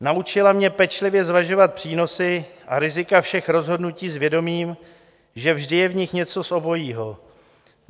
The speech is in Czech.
Naučila mě pečlivě zvažovat přínosy a rizika všech rozhodnutí s vědomím, že vždy je v nich něco z obojí.